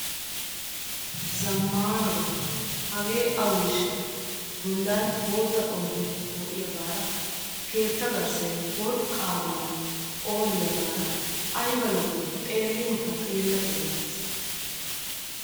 zammaanaba hagee aweeshsha! bollan bootta xomppee poo'iyaagara keetta garssay worqqaadan phooliyaagara ayba lo"ii! xeelinkka xeella xeella gees.